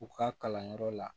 U ka kalanyɔrɔ la